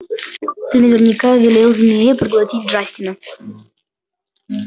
ты наверняка велел змее проглотить джастина